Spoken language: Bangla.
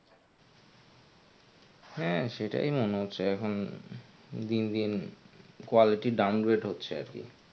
হ্যাঁ সেটাই মনে হচ্ছে এখন উম দিন দিন quality down rate হচ্ছে আর কি.